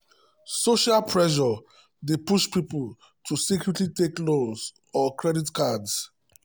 social pressure dey push people to secretly take loans or credit cards.